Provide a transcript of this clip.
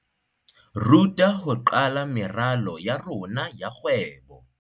ruta ho qala meralo ya rona ya kgwebo.